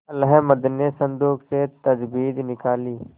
अहलमद ने संदूक से तजबीज निकाली